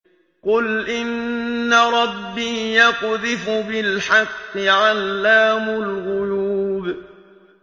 قُلْ إِنَّ رَبِّي يَقْذِفُ بِالْحَقِّ عَلَّامُ الْغُيُوبِ